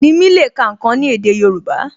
Nimi le ká ǹkan ni èdè Yorùbá